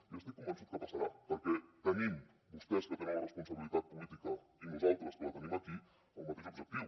i estic convençut que passarà perquè tenim vostès que tenen la responsabilitat política i nosaltres que la tenim aquí el mateix objectiu